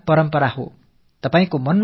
இது ஒரு பாரம்பரியமான நிகழ்வு